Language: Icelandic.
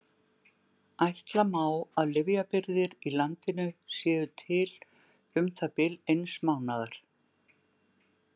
Ætla má að lyfjabirgðir í landinu séu til um það bil eins mánaðar.